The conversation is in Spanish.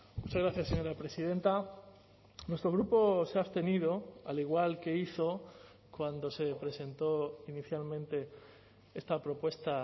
muchas gracias señora presidenta nuestro grupo se ha abstenido al igual que hizo cuando se presentó inicialmente esta propuesta